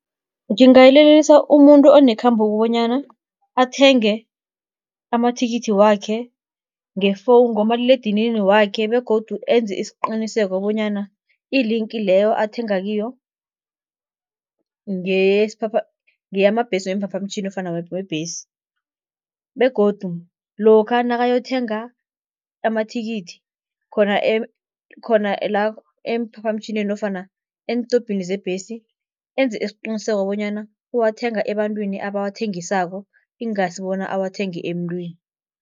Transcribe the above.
Ngingayilelelisa umuntu onekhambo bonyana, athenge amathikithi wakhe ngomaliledinini wakhe begodu enze isiqiniseko bonyana i-link leyo athenga kiyo, ngeyamabhesi weemphaphamtjhini nofana webhesi. Begodu lokha nakayothenga amathikithi khona, khona la emphaphamtjhinini nofana entobhini zebhesi enze isiqiniseko bonyana uwathenga ebantwini abawathengisako ingasi bona awathenge emntwini.